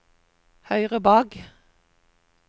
høyre bak